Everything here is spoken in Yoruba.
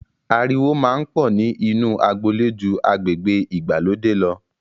Ariwo máa ń pọ̀ ni inu agboolé ju agbègbè ìgbàlódé lọ.